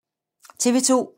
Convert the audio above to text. TV 2